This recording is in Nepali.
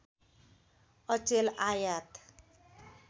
अचेल आयात